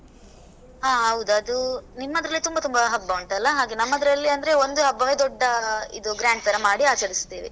ಆ ಹೌದು. ಅದೂ ನಿಮ್ಮದ್ರಲ್ಲಿ ತುಂಬಾ ತುಂಬಾ ಹಬ್ಬ ಉಂಟಲ್ಲ ಹಾಗೆ, ನಮ್ಮದ್ರಲ್ಲಿ ಅಂದ್ರೆ ಒಂದು ಹಬ್ಬವೆ ದೊಡ್ಡಾ ಇದು grand ಥರ ಮಾಡಿ ಆಚರಿಸುತ್ತೇವೆ.